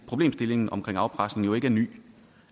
problemstillingen omkring afpresning jo ikke er ny